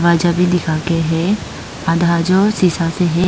आजा भी दिखाके हैं आधा जो शीशा से है।